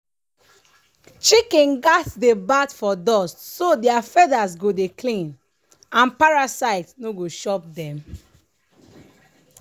chicken gats dey bath for dust so their feathers go dey clean and parasite no go chop den